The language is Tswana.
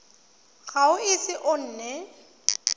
ga o ise o nne